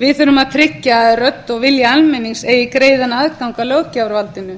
við þurfum að tryggja að rödd og vilji almennings eigi greiðan aðgang að löggjafarvaldinu